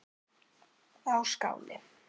á Skáni.